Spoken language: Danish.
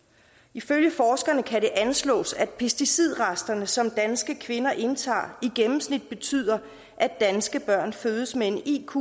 ifølge forskerne kan det anslås at pesticidresterne som danske kvinder indtager i gennemsnit betyder at danske børn fødes med en iq